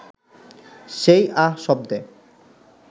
সেই আহ শব্দে